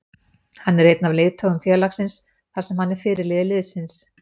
Hann er einn af leiðtogum félagsins þar sem hann er fyrirliði liðsins.